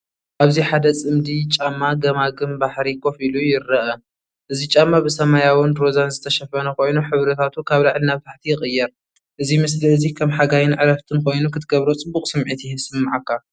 ኣብዚ ሓደ ጽምዲ ጫማ ገማግም ባሕሪ ኮፍ ኢሉ ይርአ። እዚ ጫማ ብሰማያውን ሮዛን ዝተሸፈነ ኮይኑ፡ ሕብርታቱ ካብ ላዕሊ ናብ ታሕቲ ይቕየር። እዚ ምስሊ እዚ ከም ሓጋይን ዕረፍትን ኮይኑ ክትገብሮ ፅበቅ ስምዒት ይስመዓካ።